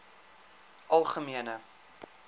algemene